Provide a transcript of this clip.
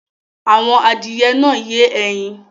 Àwọn adìyẹ náà ń yé ẹyin